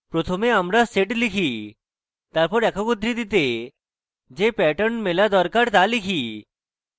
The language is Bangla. প্রথমে আমরা sed লিখি তারপর একক উদ্ধৃতিতে যে pattern মেলা দরকার তা লিখি